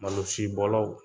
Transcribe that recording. Malosibɔlaw